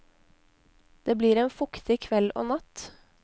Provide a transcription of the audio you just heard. Det blir en fuktig kveld og natt.